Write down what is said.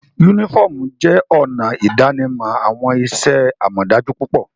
Unifọmú jẹ ọna idanimọ awọn iṣẹ-amọdaju pupọ.